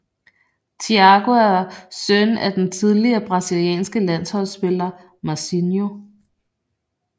Thiago er søn af den tidligere brasilianske landsholdspiller Mazinho